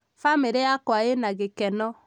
bamiri yakwa ĩna gĩkeno